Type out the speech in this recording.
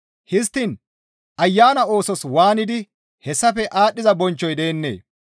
histtiin Ayana oosos waanidi hessafe aadhdhiza bonchchoy deennee?